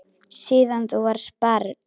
Síðan þú varst barn.